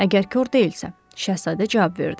Əgər kor deyilsə, şahzadə cavab verdi.